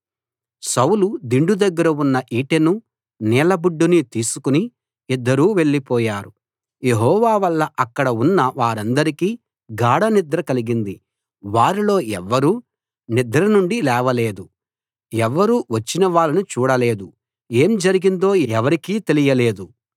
సౌలు దిండు దగ్గర ఉన్న ఈటెను నీళ్లబుడ్డిని తీసుకు ఇద్దరూ వెళ్ళిపోయారు యెహోవా వల్ల అక్కడు ఉన్న వారందరికీ గాఢనిద్ర కలిగింది వారిలో ఎవ్వరూ నిద్ర నుండి లేవలేదు ఎవ్వరూ వచ్చిన వాళ్ళను చూడలేదు ఏం జరిగిందో ఎవరికీ తెలియలేదు